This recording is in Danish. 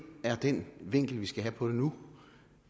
er den vinkel vi skal have på det nu